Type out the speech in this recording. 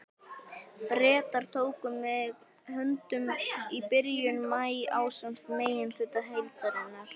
Bretar tóku mig höndum í byrjun maí ásamt meginhluta herdeildarinnar.